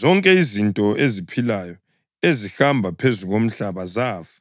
Zonke izinto eziphilayo ezihamba phezu komhlaba zafa,